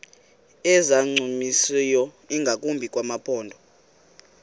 ezingancumisiyo ingakumbi kumaphondo